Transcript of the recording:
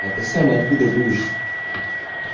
а ты сам откуда будешь